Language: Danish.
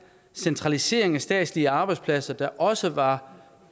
centralisering af statslige arbejdspladser der også var